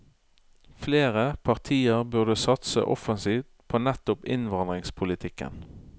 Flere partier burde satse offensivt på nettopp innvandringspolitikken.